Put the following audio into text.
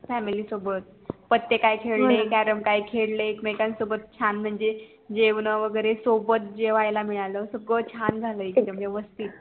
family सोबत पते काय खेळे, carrom काय खेळे एक मेकांन सोबत छान म्हणजे जेवण वैगेरे सोबत जेवायला मिळालं सगळं छान झालं एकदम वेवस्तीत